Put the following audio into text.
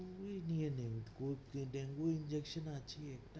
তুই নিয়ে নে, dengue injection আছে।